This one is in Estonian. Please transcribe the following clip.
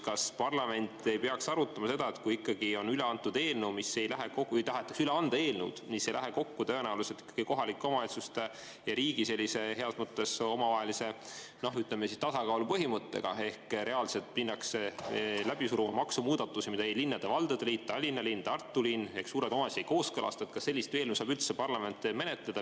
Kas parlament ei peaks arutama seda, et kui on üle antud eelnõu või tahetakse üle anda eelnõu, mis tõenäoliselt ei lähe kokku kohalike omavalitsuste ja riigi heas mõttes omavahelise tasakaalu põhimõttega, ehk reaalselt minnakse läbi suruma maksumuudatusi, mida linnade-valdade liit, Tallinna linn, Tartu linn ega suured omavalitsused ei kooskõlasta, siis kas sellist eelnõu saab üldse parlament menetleda?